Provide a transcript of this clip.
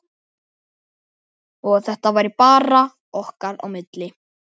Og að þetta væri bara okkar á milli.